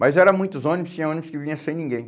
Mas era muitos ônibus, tinha ônibus que vinha sem ninguém.